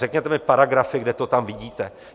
Řekněte mi paragrafy, kde to tam vidíte?